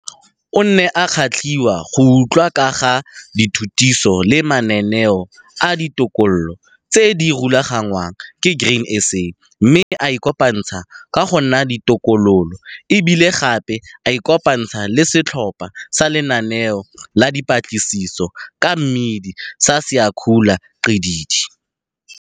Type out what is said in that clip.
O ne a kgatlhwa go utlwa ka ga dithutiso le mananeo a ditokolo tse di rulagangwang ke Grain SA mme a ikopantsha go nna tokololo, e bile gape a ikopantsha le Setlhopha sa Lenaneo la Dipatlisiso ka Mmidi sa Siyakhula Gxididi.